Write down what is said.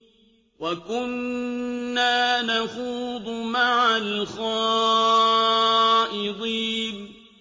وَكُنَّا نَخُوضُ مَعَ الْخَائِضِينَ